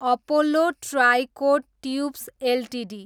Apollo tricoat tubes Ltd